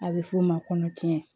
A bɛ f'o ma kɔnɔtiɲɛ